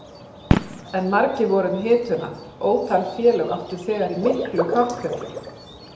En margir voru um hituna, ótal félög áttu þegar í miklu kapphlaupi.